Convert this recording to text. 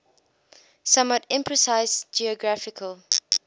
somewhat imprecise geographical